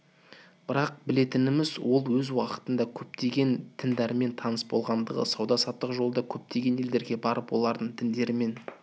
бірақ білетініміз ол өз уақытында көптеген діндермен таныс болғандығы сауда-саттық жолда көптеген елдерге барып олардың діндерімен